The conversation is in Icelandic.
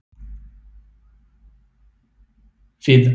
Við ætlum að fá tvo latte og eina kökusneið.